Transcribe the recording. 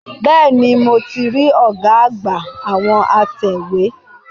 Bẹ́ẹ̀ni, mo ti rí ọ̀gá àgbà àwọn atẹ̀wé.